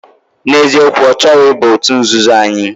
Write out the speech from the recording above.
Na eziokwu, ochoro iba otut nzuzo anyi.